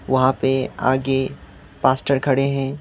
वहां पे आगे पास्टर खड़े हैं।